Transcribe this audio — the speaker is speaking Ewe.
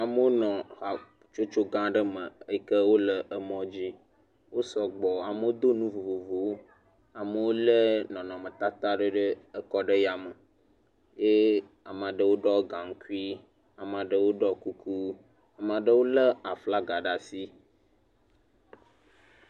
Wonɔ hatsotso gã aɖe me eyike wole emɔ dzi, wosɔ gbɔ, amo do nu vovovowo, amo lé nɔnɔmetata ɖe ɖe ekɔ ɖe ya me, eye ame aɖewo ɖɔ gaŋkui, ame aɖewo ɖɔ kuku, ame aɖewo lé aflaga ɖe asi.